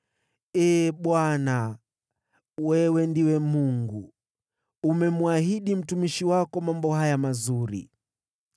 Ee Bwana , wewe ndiwe Mungu! Umemwahidi mtumishi wako mambo haya mazuri.